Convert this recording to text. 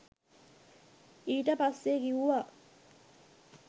ඊට පස්සේ කිව්වා